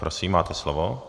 Prosím, máte slovo.